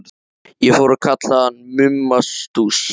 Ég fór að kalla hann Mumma Stúss.